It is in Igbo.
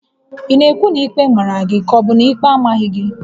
Ị na-ekwu na ikpe màrà gị kà ọbu na ikpe amaghị gị?